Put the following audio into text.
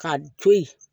Ka to yen